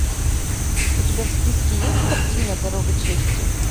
у тебя в списке есть картина дорога чести